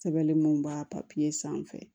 Sɛbɛnni mun b'a sanfɛ